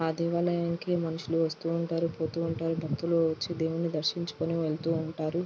ఆ దేవాలయం కి మనుషులు వస్తూ ఉంటారు. పొతూ ఉంటారు. భక్తులు వచ్చి దేవుడ్ని దర్శించుకుని వెళ్తుంటారు.